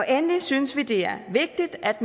endelig synes vi det er vigtigt at